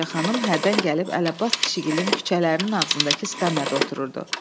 Balaçaxanım hərdən gəlib Əli Abbas kişigilən küçələrinin ağzındakı skamyada otururdu.